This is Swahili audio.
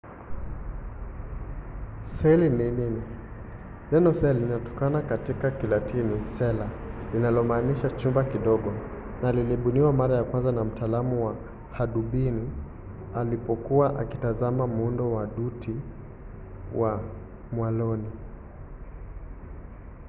seli ni nini? neno cell linatokana na neno la kilatini cella linalomaanisha chumba kidogo na lilibuniwa mara ya kwanza na mtaalamu wa hadubini alipokuwa akitazama muundo wa dutu ya mwaloni